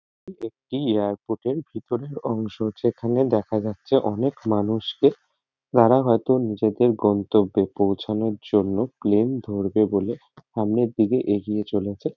এটি একটি এয়ারপোর্ট -এর ভেতরের অংশ যেখানে দেখা যাচ্ছে অনেক মানুষকে তারা হয়তো নিজেদের গন্তব্যে পৌঁছানোর জন্য প্লেন ধরবে বলে সামনের দিকে এগিয়ে চলেছে ।